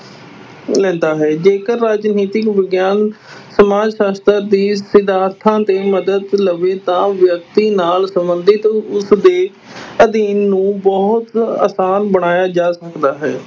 ਲੈਂਦਾ ਹੈ, ਜੇਕਰ ਰਾਜਨੀਤਿਕ ਵਿਗਿਆਨ ਸਮਾਜ ਸ਼ਾਸਤਰ ਦੇ ਸਿਧਾਂਤਾਂ ਦੀ ਮਦਦ ਲਵੇ ਤਾਂ ਵਿਅਕਤੀ ਨਾਲ ਸੰਬੰਧਿਤ ਉਸਦੇ ਅਧਿਐਨ ਨੂੰ ਬਹੁਤ ਆਸਾਨ ਬਣਾਇਆ ਜਾ ਸਕਦਾ ਹੈ।